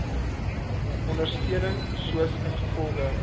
ondersteuning soos ingevolge